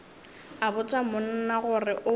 a botša monna gore o